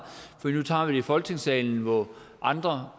for nu tager vi det i folketingssalen hvor andre